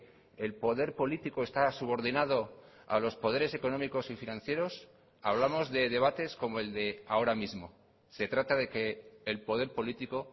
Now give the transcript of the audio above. el poder político está subordinado a los poderes económicos y financieros hablamos de debates como el de ahora mismo se trata de que el poder político